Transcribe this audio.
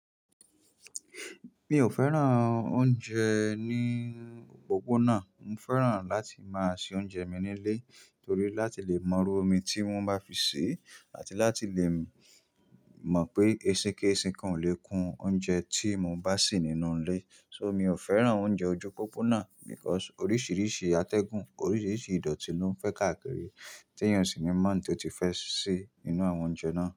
Mi ò fẹ́ràn oúnjẹ ni opoppna Mo fẹ́ràn láti máa se oúnjẹ mi nílé torí láti lè mọ irú omi tí wọ́n bá fi sè àti láti lè mọ̀ pé ẹṣin kéṣin kan ò lè kún oúnjẹ tí mo bá sì nínú ilé. So, mi ò fẹ́ràn oúnjẹ ojú opopona because oríṣiríṣi atẹ́gùn, oríṣiríṣi ìdọ̀tí ló ń fẹ́ káàkiri tí èèyàn sì ní mọ̀ tó ti fẹ́ sè nínú àwọn oúnjẹ náà.